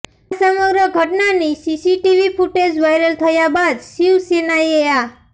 આ સમગ્ર ઘટનાની સીસીટીવી ફૂટેજ વાયરલ થયા બાદ શિવસેનાએ આ